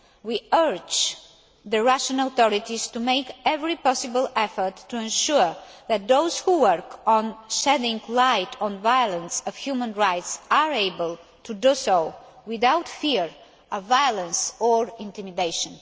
We urge the Russian authorities to make every possible effort to ensure that those who work on shedding light on violations of human rights are able to do so without fear of violence or intimidation.